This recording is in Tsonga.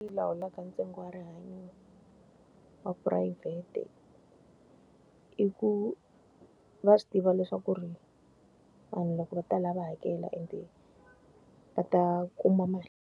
lawulaka ntsengo wa rihanyo wa phurayivhete i ku, va swi tiva leswaku ri vanhu loko va ta laha va hakela ende va ta kuma mali.